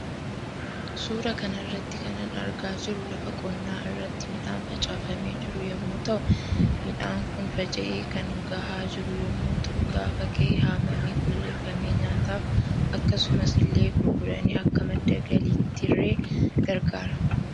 Suura kanarratti kanan argaa jiru lafa qonnaa irratti midhaan facaafamee jiru yommu ta'uu midhaan Kun faca'ee kan gaha jiru yommuu ta'u gaafa gahe haamamee qulleeffamee nyaataaf akkasumas ille gurgurani Akka madda galittirre gargaara.